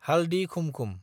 हालदि खुमखुम